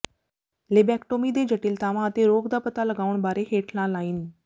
lobectomy ਦੇ ਜਟਿਲਤਾਵਾਂ ਅਤੇ ਰੋਗ ਦਾ ਪਤਾ ਲਗਾਉਣ ਬਾਰੇ ਹੇਠਲਾ ਲਾਈਨ